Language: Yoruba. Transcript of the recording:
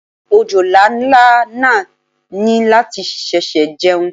Òjòlá ńlá náà ní láti ṣẹ̀ṣẹ̀ jẹun.